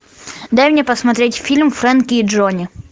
дай мне посмотреть фильм фрэнки и джонни